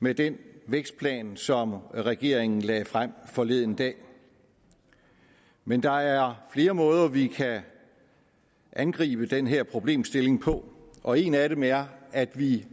med den vækstplan som regeringen lagde frem forleden dag men der er flere måder vi kan angribe den her problemstilling på og en af dem er at vi